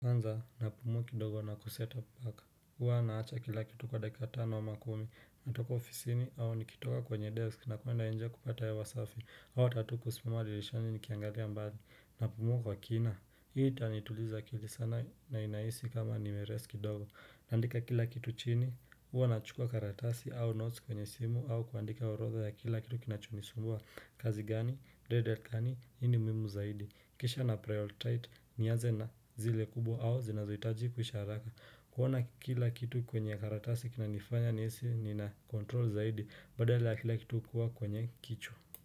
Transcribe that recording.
Kwanza napumua kidogo na kuseta mpaka. Huwa naacha kila kitu kwa dakika tano ama kumi. Natoka ofisini au nikitoka kwenye desk nakwenda nje kupata hewa safi. Au hata tu kusimama dirishani nikiangalia mbali. Napumua kwa kina. Hii itanituliza akili sana na inahisi kama nimerest kidogo. Naandika kila kitu chini. Huwa nachukua karatasi au notes kwenye simu. Au kuandika orodha ya kila kitu kinachonisumbua. Kazi gani? Redhead kani? Hii ni muimu zaidi. Kisha naprioritite. Nianze na zile kubwa au zinazohitaji kuisha haraka kuona kila kitu kwenye karatasi kinanifanya nihisi nina control zaidi badala ya kila kitu kuwa kwenye kichwa.